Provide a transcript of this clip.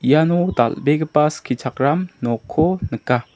iano dal·begipa skichakram nokko nika.